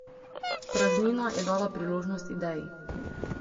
Praznina je dala priložnost ideji.